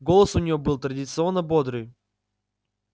голос у него был традиционно бодрый